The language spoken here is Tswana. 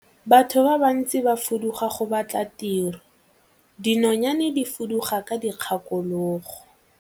Batho ba bantsi ba fuduga go batla tiro, dinonyane di fuduga ka dikgakologo.